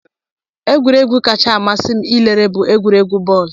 Egwuregwu kacha amasị m ilere bụ egwuregwu bọọlụ